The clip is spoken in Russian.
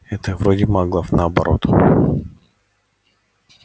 это вроде маглов наоборот